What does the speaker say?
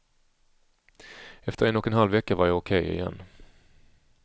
Efter en och en halv vecka var jag okej igen.